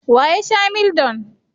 Wa ya sha Mildol?